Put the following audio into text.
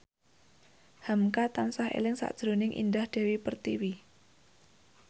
hamka tansah eling sakjroning Indah Dewi Pertiwi